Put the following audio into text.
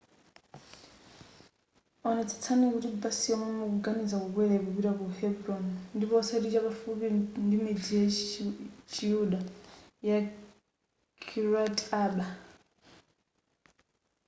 onetsetsani kuti basi yomwe mukuganiza kukwera ikupita ku hebron ndipo osati chapafupi ndimidzi ya chiyuda ya kiryat arba